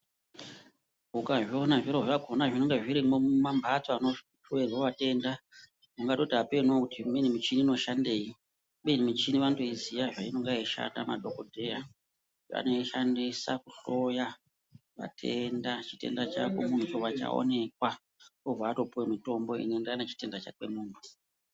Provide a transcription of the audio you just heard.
Ukazviona zviro zvakona zvinonga zvirimwo mumambatso anohloerwe vatenda ungatoti apeno kuti imweni michini inoshandei kubeni michini vanotoiziva zveinonga yeishanda madhokodheya anoishandisa kuhloya matenda, chitenda chako muntu chobva chaonekwa wobva watopuwa mitombo inoenderana nechitenda chake mumtu.